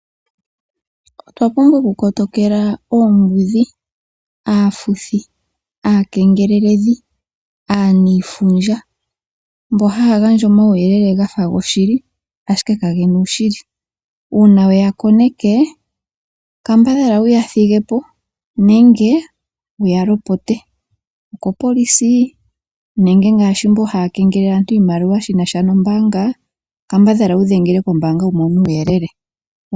Otwa pumbwa okukotokela oombudhi, aafuthi, aakengeleldhi, aaniifundja mboka haya gandja omauyelele ga fa goshili, ashike kage na uushili. Uuna we ya koneke kambadhala wu ya thige po nenge wu ya lopote, ongele okopolisi nenge ngaashi mboka haya kengelele aantu iimaliwa shi na sha nombaanga kambadhala wu dhengele kombaanga wu mone uuyelele.